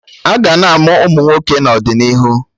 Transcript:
Aga na-amụ Ụmụnwoke n'ọdịnihu